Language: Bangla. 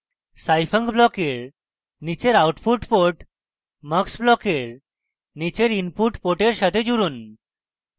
scifunc ব্লকের নীচের output port mux ব্লকের নীচের input port সাথে জুড়ুন